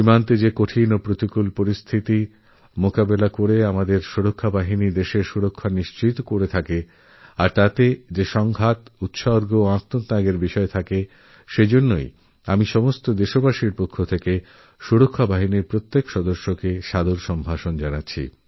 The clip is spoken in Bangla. সীমান্তে যে কঠিন পরিস্থিতির মোকাবিলা করে আমাদেরপ্রতিরক্ষা বাহিনী দেশকে রক্ষা করে সেই সঙ্ঘর্ষ সমর্পণ আর ত্যাগের জন্য আমি সকলদেশবাসীর পক্ষ থেকে আমাদের প্রতিরক্ষা বাহিনীর প্রত্যেক জওয়ানকে সম্মান জানাই